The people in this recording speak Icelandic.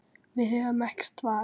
Við höfum ekkert val.